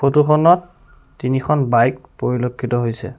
Photo খনত তিনিখন bike পৰিলক্ষিত হৈছে।